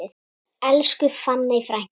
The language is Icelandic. Elsku fanney frænka.